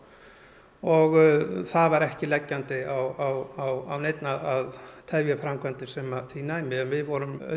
og það var ekki leggjandi á neinn að tefja framkvæmdir sem því næmi en við voru